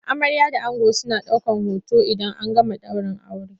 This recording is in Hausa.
Amarya da ango suna daukan hoton idan an gama daurin aure.